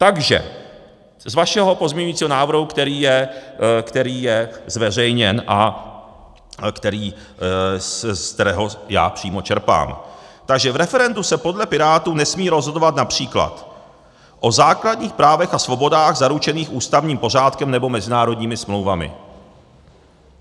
Takže z vašeho pozměňujícího návrhu, který je zveřejněn a z kterého já přímo čerpám: Takže v referendu se podle Pirátů nesmí rozhodovat například o základních právech a svobodách zaručených ústavním pořádkem nebo mezinárodními smlouvami.